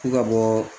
Ko ka bɔ